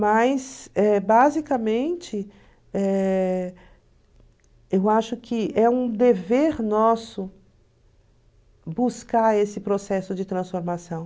Mas, eh basicamente, eh eu acho que é um dever nosso buscar esse processo de transformação.